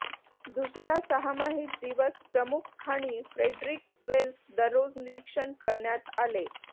दुसऱ्या सहामाहीत दिवस प्रमुख खाणी फ्रेडरिक वेल्स दररोज निरीक्षण करण्यात आले